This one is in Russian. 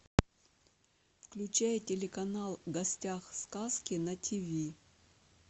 включай телеканал в гостях у сказки на тв